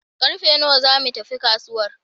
Karfe nawa za mu tafi kasuwar?